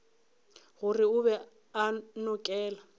gore o be a nokela